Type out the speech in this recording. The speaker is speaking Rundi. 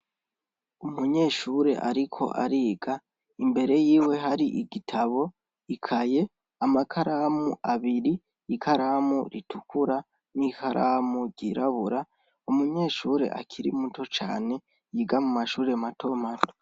Umunyeshure ariko ariga, imbere yiwe hari igitabo, ikaye, amakaramu abiri, ikaramu itukura n'ikaramu yirabura. Umunyeshure akiri muto cane, yiga mu mashure mato mato.